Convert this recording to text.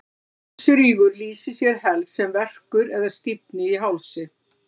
hálsrígur lýsir sér helst sem verkur eða stífni í hálsi